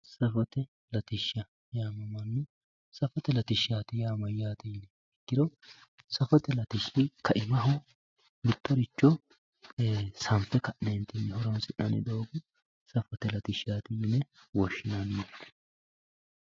Safote latishsha yamamano, safote latishsha yaa mayyate yiniha ikkiro safote latishshi kaimaho xintaho sanfe ka'nentinni horonsi'nannitta doogo safote latishshati yine woshshinanni.